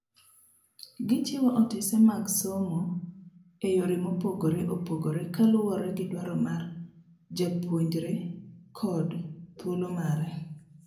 Gichiwo otese mag somo eyore mopogre opogre kaluwore gidwaro mar japuonjrekod thuolo mare.